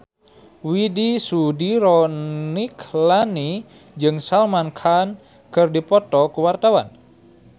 Widy Soediro Nichlany jeung Salman Khan keur dipoto ku wartawan